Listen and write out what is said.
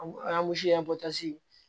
An